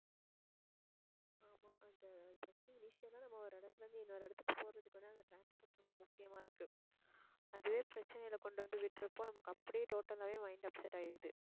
ஆமா அது first உ ஆ நம்ம ஒரு இடத்துல இருந்து, இன்னொரு இடத்துக்கு போறதுக்கு வந்து அந்த transport ரொம்ப முக்கியமா இருக்கு. அதுவே பிரச்சனைகளை கொண்டு வந்து விடுறப்போ நமக்கு அப்படியே total ஆவே mind upset ஆயிடுது